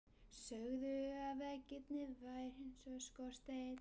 Sögðu að veggirnir væru eins og skorsteinn.